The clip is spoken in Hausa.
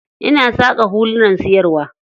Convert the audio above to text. Ina saƙa hulunan siyarwa.